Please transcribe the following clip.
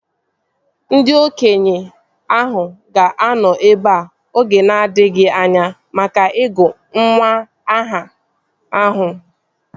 Ndị okenye ahụ ga-anọ ebea oge na-adịghị anya maka ịgụ nwa aha ahụ